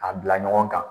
A bila ɲɔgɔn kan